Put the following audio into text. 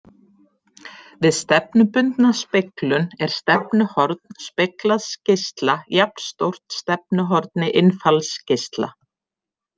Við stefnubundna speglun er stefnuhorn speglaðs geisla jafnstórt stefnuhorni innfallsgeisla.